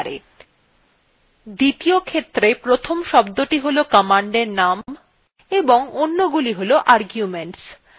দ্বিতীয ক্ষেত্রে প্রথম শব্দটি হল command প্রকৃত name এবং অন্যগুলি হল arguments